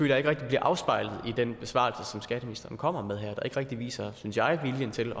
jeg ikke rigtig bliver afspejlet i den besvarelse som skatteministeren kommer med her jeg ikke rigtig viser viljen til